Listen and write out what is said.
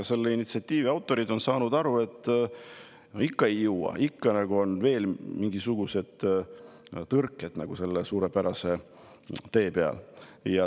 Selle initsiatiivi autorid on nüüd saanud aru, et seda ikka ei jõua, on veel mingisugused tõrked sellel suurepärasel teel.